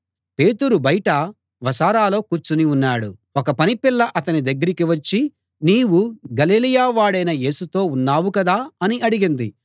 పేతురు బయట వసారాలో కూర్చుని ఉన్నాడు ఒక పనిపిల్ల అతని దగ్గరికి వచ్చి నీవు గలిలయ వాడైన యేసుతో ఉన్నావు కదా అని అడిగింది